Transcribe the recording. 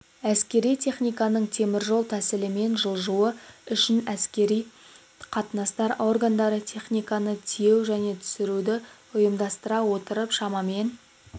әскери техниканың теміржол тәсілімен жылжуы үшін әскери қатынастар органдары техниканы тиеу және түсіруді ұйымдастыра отырып шамамен